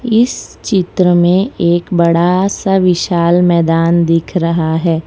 इस चित्र में एक बड़ा सा विशाल मैदान दिख रहा है।